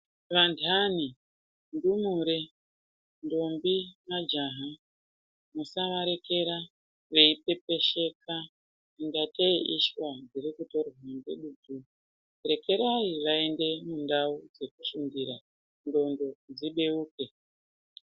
Vandani ,ndumure ,ntombi ,majaha musavarekera veipepesheka ingateyi ishwa dzirikutorwa ngedutu rekerayi vaende kundau dzekufundira nxondo dzibeuke .